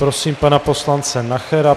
Prosím pana poslance Nachera.